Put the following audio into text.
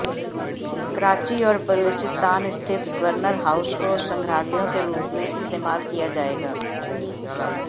कराची और बलूचिस्तान स्थित governor house को संग्रहालयों के रूप में इस्तेमाल किया जाएगा